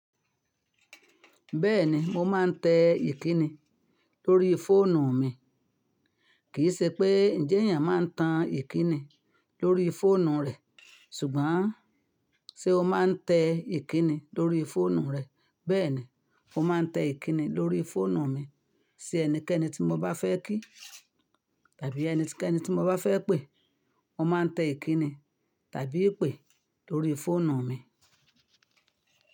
Bẹ́ẹ̀ni, mo máa ń tẹ ìkíni lórí fóònù mi. Kì í ṣe pé ǹjẹ́ èèyàn máa ń tan ìkíni lórí fóònù rẹ̀, ṣùgbọ́n ṣe ó máa ń tẹ ìkíni lórí fóònù rẹ̀. Bẹ́ẹ̀ni, mo máa ń tẹ ìkíni lórí fóònù mi. Ṣe ẹnikẹ́ni tí mo bá fẹ́ kí tàbí ẹnikẹ́ni tí mo bá fẹ́ pè, mo máa ń tẹ ìkíni tàbí ìpè lórí fóònù mi.